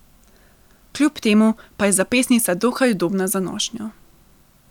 Kljub temu pa je zapestnica dokaj udobna za nošnjo.